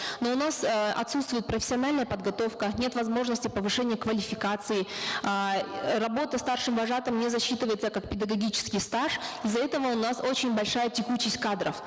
но у нас э отсутствует профессиональная подготовка нет возможности повышения квалификации э работа старшим вожатым не засчитывается как педагогический стаж из за этого у нас очень большая текучесть кадров